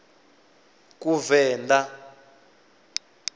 kuvenḓa